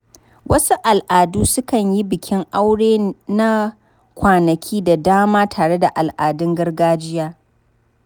Wasu al’adu sukan yi bikin aurensu na kwanaki da dama tare da al’adun gargajiya.